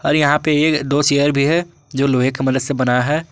और यहां पे एक दो चेयर भी है जो लोहे के मदद से बना है।